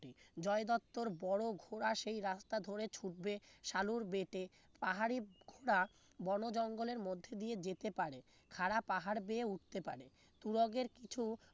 জয় দত্তর বড়ো ঘোড়া সেই রাস্তা ধরে ছুটবে সালুর বেটে পাহাড়ি ঘোড়া বনো জঙ্গলের মধ্যে দিয়ে যেতে পারে খাড়া পাহাড় দিয়ে উঠতে পারে তুরগের কিছু